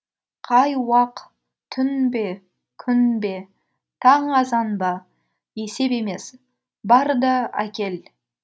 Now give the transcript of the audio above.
қай уақ түн бе күн бе таң азан ба есеп емес бар да әкел